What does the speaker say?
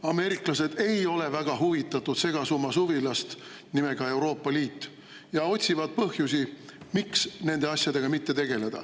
Ameeriklased ei ole väga huvitatud segasummasuvilast nimega Euroopa Liit ja otsivad põhjusi, miks nende asjadega mitte tegeleda.